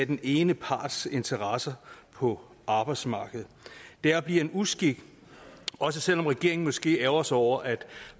den ene parts interesser på arbejdsmarkedet det er og bliver en uskik også selv om regeringen måske ærgrer sig over at